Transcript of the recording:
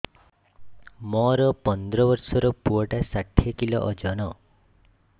ମୋର ପନ୍ଦର ଵର୍ଷର ପୁଅ ଟା ଷାଠିଏ କିଲୋ ଅଜନ